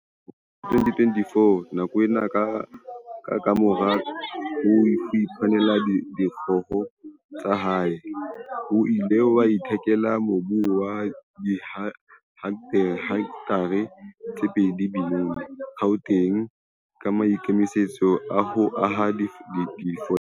Ka selemo sa 2014, nakwana kamora ho iphumanela dikgoho tsa hae, o ile a ithekela mobu wa dihektare tse pedi Benoni, Gauteng, ka maikemisetso a ho aha difolete.